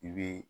I bɛ